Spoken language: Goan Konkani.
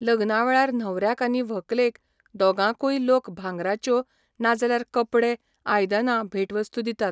लग्ना वेळार न्हवऱ्याक आनी व्हंकलेक दोगांयकूय लोक भांगाराच्यो ना जाल्यार कपडे, आयदनां भेटवस्तू दितात.